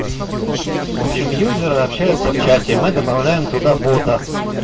в общем пользователи общаются в чате мы добавляем туда бота